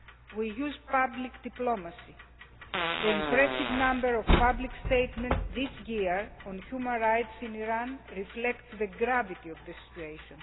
We use public diplomacy the impressive number of public statements this year on human rights in Iran reflects the gravity of the situation.